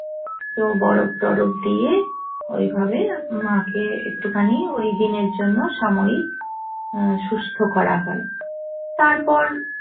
তো বরফ তরফ দিয়ে ওইভাবে মাকে একটুখানি ওইদিনের জন্য সাময়িক সুস্থ করা হয় তারপর